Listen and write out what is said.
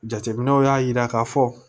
Jateminɛw y'a jira k'a fɔ